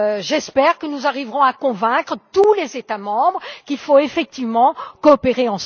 J'espère que nous arriverons à convaincre tous les États membres qu'il faut effectivement coopérer.